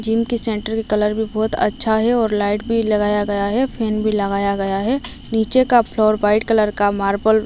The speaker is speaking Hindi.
जिम के सेंटर के कलर भी बहुत अच्छा है और लाइट भी लगाया गया है फैन भी लगाया गया है नीचे का फ्लोर व्हाईट कलर का मार्बल --